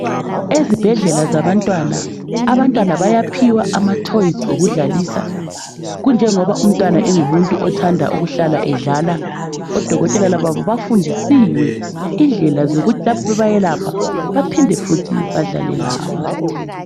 Ezibhedlela zabantwana abantwana bayaphiwa amatoys okudlalisa kunjengoba umntwana engumuntu othanda ukuhlala edlala. Odokotela laba bafundisiwe indlela zokuthi lapha bebelapha baphinde futhi badlale labo.